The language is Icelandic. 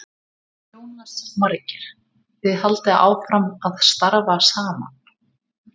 Jónas Margeir: Þið haldið áfram að starfa saman?